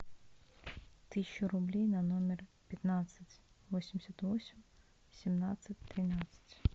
тысячу рублей на номер пятнадцать восемьдесят восемь семнадцать тринадцать